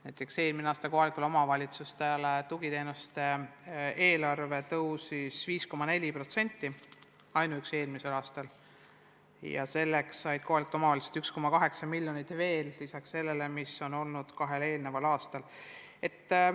Näiteks eelmine aasta kasvas kohalikele omavalitsustele tugiteenuste eest maksmiseks eraldatud summa 5,4%: kohalikud omavalitsused said juurde 1,8 miljonit lisaks sellele, mis on kahel eelnenud aastal makstud.